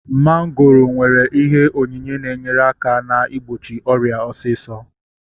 Mongoro nwere ihe onyinye na-enyere aka na-igbochi ọrịa osisọ